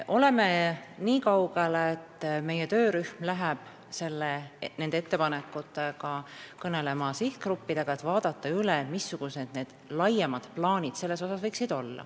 Oleme niikaugel, et meie töörühm läheb varsti sihtgruppidega ettepanekutest kõnelema, et vaadata üle see, missugused võiksid olla laiemad plaanid.